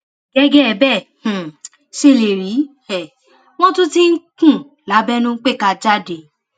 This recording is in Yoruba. gẹgẹ bẹ ẹ um ṣe lè rí i um wọn tún ti ń kùn lábẹnú pé kà á jáde